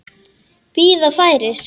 Bíða færis.